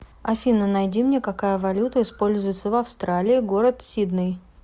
афина найди мне какая валюта используется в австралии город сидней